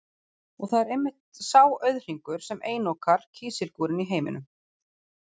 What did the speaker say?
Og það er einmitt sá auðhringur, sem einokar kísilgúrinn í heiminum.